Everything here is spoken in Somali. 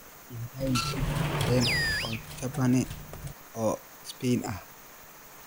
ii raadi tigidh tareen oo jaban oo Spain ah